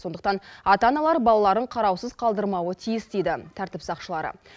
сондықтан ата аналар балаларын қараусыз қалдырмауы тиіс дейді тәртіп сақшылары